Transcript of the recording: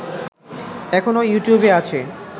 এখনো ইউটিউবে আছে